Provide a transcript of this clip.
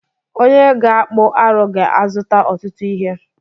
Onye ga-akpụ arụ ga-azụta ọtụtụ ihe